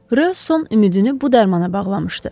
Rö son ümidini bu dərmana bağlamışdı.